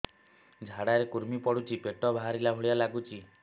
ଝାଡା ରେ କୁର୍ମି ପଡୁଛି ପେଟ ବାହାରିଲା ଭଳିଆ ଲାଗୁଚି